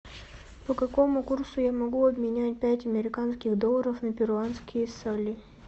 по какому курсу я могу обменять пять американских долларов на перуанские соли